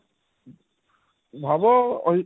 ভাবো ওই